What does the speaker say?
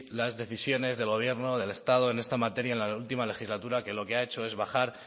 las decisiones del gobierno del estado en esta materia en la última legislatura que lo que ha hecho es bajar